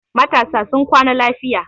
Matasa sun kwana lafiya.